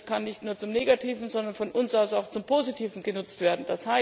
Das Internet kann nicht nur zum Negativen, sondern von uns aus auch zum Positiven genutzt werden.